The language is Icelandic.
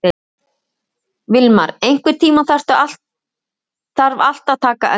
Vilmar, einhvern tímann þarf allt að taka enda.